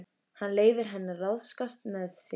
Hann leyfir henni að ráðskast með sig.